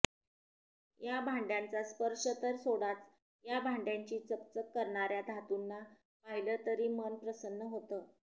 या भांड्याचा स्पर्श तर सोडाच या भांड्याची चकचक करणार्या धातूंना पाहिलं तरी मन प्रसन्न होतं